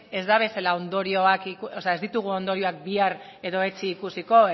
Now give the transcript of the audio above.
ez ditugu ondorioak bihar edo etzi ikusiko